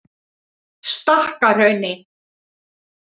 Stakkahrauni